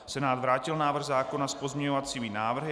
Senát vrátil návrh zákona s pozměňovacími návrhy.